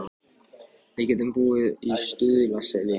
Og við getum búið í Stuðlaseli.